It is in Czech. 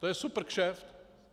To je supr kšeft.